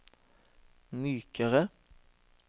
mykere